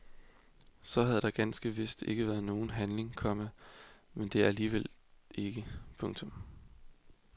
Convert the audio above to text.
Så havde der ganske vist ikke været nogen handling, komma men det er der alligevel ikke. punktum